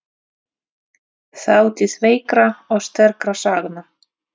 Þátíð veikra og sterkra sagna.